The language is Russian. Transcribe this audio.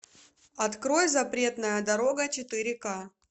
открой запретная дорога четыре ка